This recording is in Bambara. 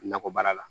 Nakɔ baara la